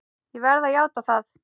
Ég verð að játa það!